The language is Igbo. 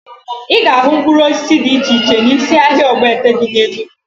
Ị ga-ahụ mkpụrụ osisi dị iche iche n'isi ahịa Ogbete dị na Enugwu